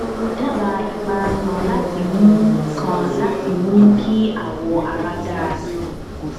daba ipara kan láti mú kan láti mú kí awọ ara dára sí i